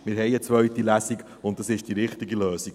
Wir haben eine zweite Lesung, und es ist die richtige Lösung.